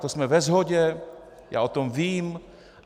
To jsme ve shodě, já o tom vím.